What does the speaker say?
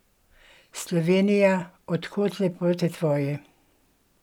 Slovenija, od kod lepote tvoje?